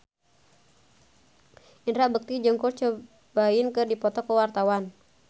Indra Bekti jeung Kurt Cobain keur dipoto ku wartawan